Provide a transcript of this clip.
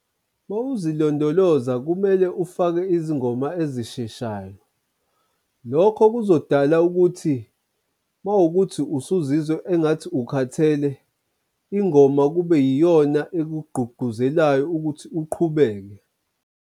Mawuzilondoloza kumele ufake izingoma ezisheshayo, Lokho kuzodala ukuthi mawukuthi usuzizwa engathi ukhathele ingoma kube yiyona ezikugquqguzelayo ukuthi uqhubeke.